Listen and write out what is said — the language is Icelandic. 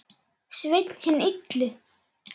Sveinn hinn illi.